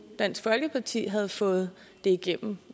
dansk folkeparti havde fået det igennem